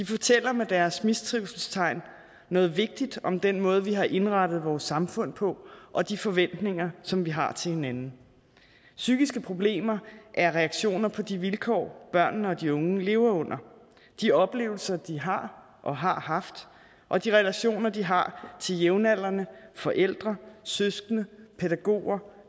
fortæller med deres mistrivselstegn noget vigtigt om den måde vi har indrettet vores samfund på og de forventninger som vi har til hinanden psykiske problemer er reaktioner på de vilkår børnene og de unge lever under de oplevelser de har og har haft og de relationer de har til jævnaldrende forældre søskende pædagoger